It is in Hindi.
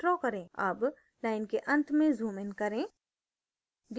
अब line के अंत में zoomइन करें